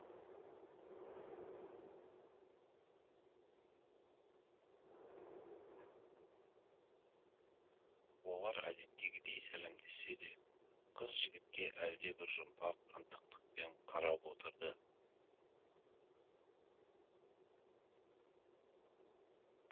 олар әдеттегідей сәлемдессе де қыз жігітке әлдебір жұмбақ ынтықтықпен қарап отырды